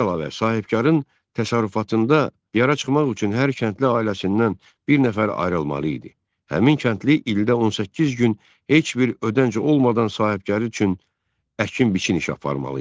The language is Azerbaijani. Bundan əlavə, sahibkarın təsərrüfatında yara çıxmaq üçün hər kəndli ailəsindən bir nəfər ayrılmalı idi, həmin kəndli ildə 18 gün heç bir ödənç olmadan sahibkar üçün əkin-biçin işi aparmalı idi.